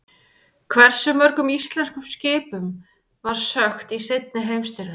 Hversu mörgum íslenskum skipum var sökkt í seinni heimsstyrjöldinni?